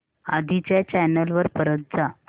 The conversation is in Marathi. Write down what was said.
आधी च्या चॅनल वर परत जा